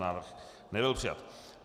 Návrh nebyl přijat.